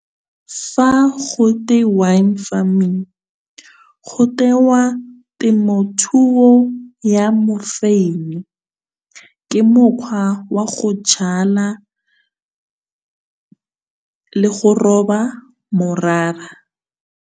Fa go twe wine farming, go tewa temothuo ya mofeini. Ke mokgwa wa go jala, le go roba morara.